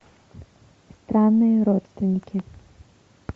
странные родственники